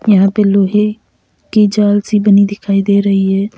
यहां पे लोहे की जाल सी बनी दिखाई दे रही है।